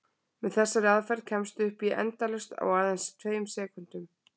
Með þessari aðferð kemstu upp í endalaust á aðeins tveimur sekúndum!